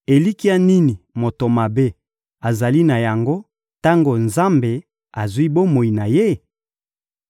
Elikya nini moto mabe azali na yango tango Nzambe azwi bomoi na ye?